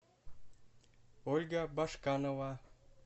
ольга башканова